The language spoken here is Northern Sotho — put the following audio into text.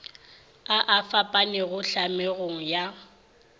a a fapanego tlhamego ya